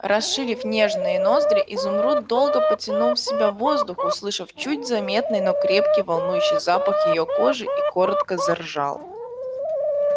расширив нежные ноздри изумруд долго потянул в себя воздух услышал чуть заметный но крепкий волнующий запах её кожи и коротко заржал